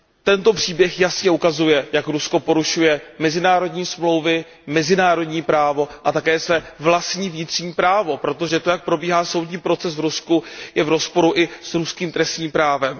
Tento příběh jasně ukazuje, jak Rusko porušuje mezinárodní smlouvy, mezinárodní právo a také své vlastní vnitřní právo, protože to, jak probíhá soudní proces v Rusku, je v rozporu i s ruským trestním právem.